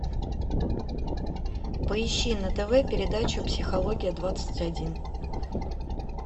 поищи на тв передачу психология двадцать один